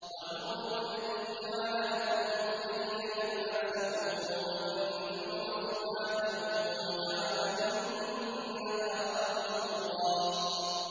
وَهُوَ الَّذِي جَعَلَ لَكُمُ اللَّيْلَ لِبَاسًا وَالنَّوْمَ سُبَاتًا وَجَعَلَ النَّهَارَ نُشُورًا